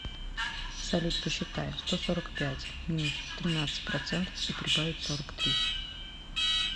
салют посчитай сто сорок пять минус тринадцать процентов и прибавить сорок три